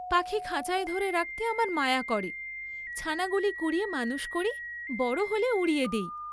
পাখী খাঁচায় ধরে রাখতে আমার মায়া করে, ছানাগুলি কুড়িয়ে মানুষ করি, বড় হলে উড়িয়ে দেই।